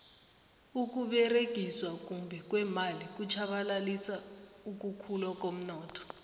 ukuberegiswa kumbi kweemali kutjhabalalisa ukukhula komnotho